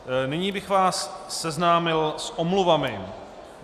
Nyní bych vás seznámil s omluvami.